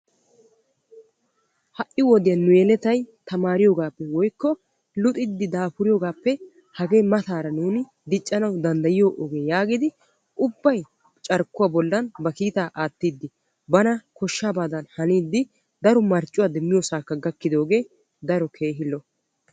Ha'i wode yelettay taamariyoogappe woykko luxiyoogappe hagee mataara nuuni diccanawu maaddiyaa oge yaagidi ubbay carkkuwaa bolli ba kiitaa aattiidi bana koshshabaa haniidi daro marccuwaa demmiyoosakka gakkidoogee daro keehi lo"o.